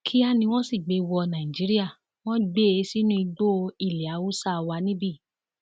kíá ni wọn sì gbé e wọ nàìjíríà wọn gbé e sínú igbó ilé haúsá wa níbí